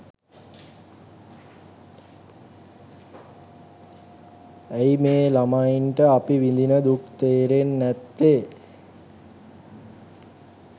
ඇයි මේ ළමයිට අපි විඳින දුක තේරෙන්නේ නැත්තේ